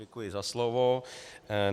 Děkuji za slovo.